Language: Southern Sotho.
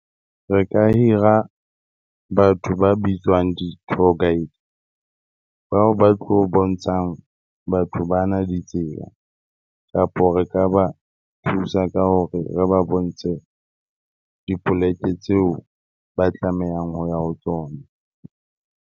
Re ka hira batho ba bitswang di-tour guide, bao ba tlo bontshang batho ba na ditsela kapa re ka ba thusa ka hore re ba bontshe dipoleke tseo ba tlamehang hoya ho tsona.